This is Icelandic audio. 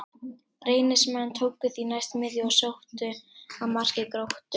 Reynismenn tóku því næst miðju og sóttu að marki Gróttu.